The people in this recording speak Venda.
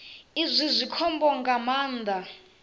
izwi zwi khombo nga maanḓa